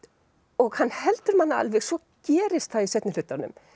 og hann heldur manni alveg svo gerist það í seinni hlutanum